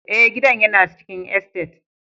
Ee, gidan yana cikin estate.